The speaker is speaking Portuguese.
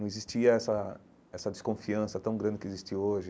Não existia essa essa desconfiança tão grande que existe hoje.